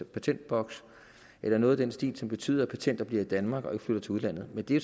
patentboks eller noget i den stil som betyder at patenter bliver i danmark og ikke flytter til udlandet men det er